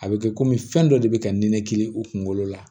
A bɛ kɛ komi fɛn dɔ de bɛ ka nin kiiri u kunkolo la